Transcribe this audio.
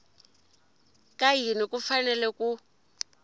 ka yini ku fanele ku